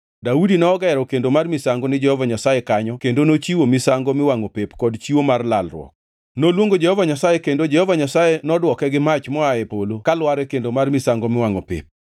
Daudi nogero kendo mar misango ni Jehova Nyasaye kanyo kendo nochiwo misango miwangʼo pep kod chiwo mar lalruok. Noluongo Jehova Nyasaye, kendo Jehova Nyasaye nodwoke gi mach moa e polo kalwar e kendo mar misango miwangʼo pep.